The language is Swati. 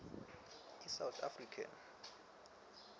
i south african